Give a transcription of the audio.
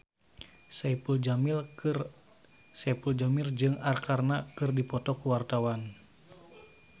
Saipul Jamil jeung Arkarna keur dipoto ku wartawan